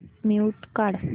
mute काढ